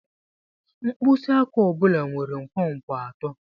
Mkpịsị aka ọ bụla nwere nkwonkwo atọ.